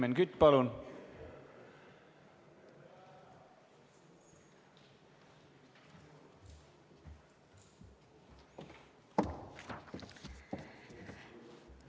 Helmen Kütt, palun!